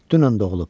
Dünən doğulub.